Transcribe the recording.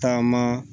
Taama